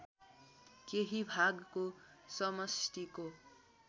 केही भागको समष्टिको